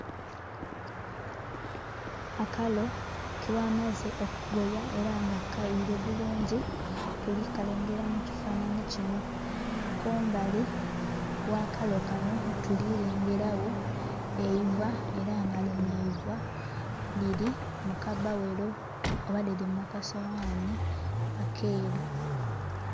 Akalo kebamaze okugoya era nga kayire bulungi tulekalengera mukifanhanhi kinho. Kumbali gh'akalo kanho tulirengera gho eiva era nga linho eiva liri mukabbaghero oba liri mukasowani akeeru.